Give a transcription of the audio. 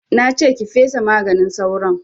Na ce ki fesa maganin sauron!